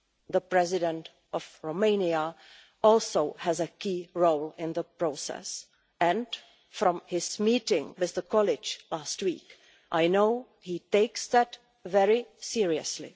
The President of Romania also has a key role in the process and, from his meeting with the College last week, I know he takes that very seriously.